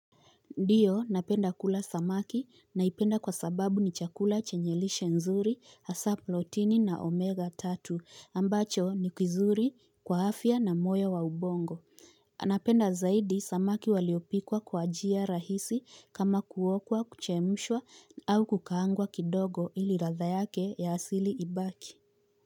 Ndiyo napenda kula samaki naipenda kwa sababu ni chakula chenye lishe nzuri hasa plotini na omega tatu ambacho ni kizuri kwa afya na moyo wa ubongo anapenda zaidi samaki waliopikwa kwa njia rahisi kama kuokwa kuchemshwa au kukaangwa kidogo ili ladha yake ya asili ibaki.